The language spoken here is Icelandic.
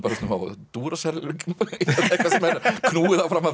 á Duracell eitthvað sem er knúið áfram af Duracell